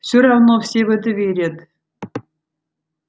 все равно все в это верят